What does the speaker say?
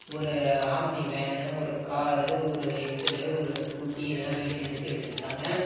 ஒரு ஆம்னி வேன்னு ஒரு காரு ஒரு எஸ்_எல்லு ஒரு ஸ்கூட்டி இதுலாம் வெளிய நிறுத்தி வெச்சிருக்காங்க.